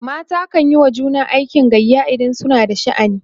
mata kanyi wa juna aikin gayya idan suna da sha'ani